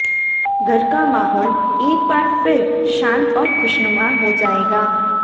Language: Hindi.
घर का माहौल एक बार फिर शांत और खुशनुमा हो जाएगा